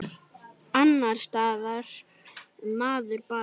Annars staðnar maður bara.